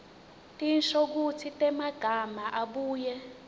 tinshokutsi temagama abuye